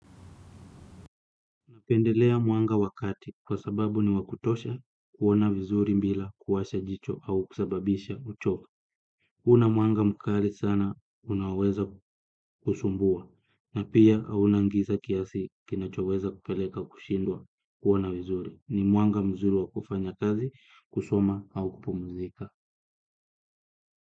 Napendelea mwanga wa kati kwa sababu ni wa kutosha kuona vizuri bila kuwasha jicho au kusababisha uchovu. Kuna mwanga mkali sana unaoweza kusumbua na pia hauna giza kiasi kinachoweza kupeleka kushindwa kuona vizuri. Ni mwanga mzuri wa kufanya kazi kusoma au kupumzika.